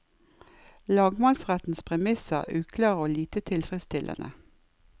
Lagmannsrettens premisser er uklare og lite tilfredsstillende.